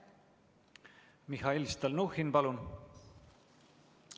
Mihhail Stalnuhhin, palun!